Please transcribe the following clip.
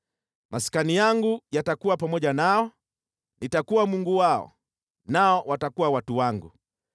Maskani yangu yatakuwa pamoja nao, nitakuwa Mungu wao, nao watakuwa watu wangu.